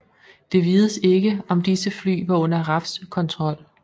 Det vides ikke om disse fly var under RAFs kontrol